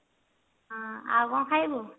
ହଁ ଆଉ କଣ ଖାଇବୁ